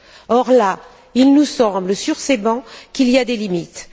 Or, là, il nous semble, sur ces bancs, qu'il y a des limites.